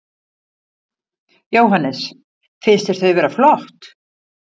Jóhannes: Finnst þér þau vera flott?